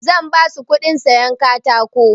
Zan basu kuɗin sayan katako.